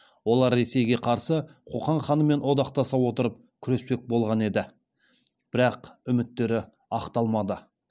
олар ресейге қарсы қоқан ханымен одақтаса отырып күреспек болған еді бірақ үміттері ақталмады